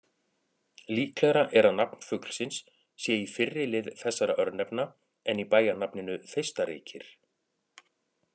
Líklegra er að nafn fuglsins sé í fyrri lið þessara örnefna en í bæjarnafninu Þeistareykir.